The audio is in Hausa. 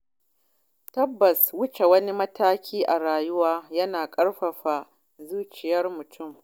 Tabbas Wuce wani mataki a rayuwa yana ƙarfafa zuciyar mutum.